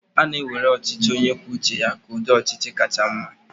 a na-ewere ọchịchị onye kwuo uche ya ka ụdị ọchịchị kacha mma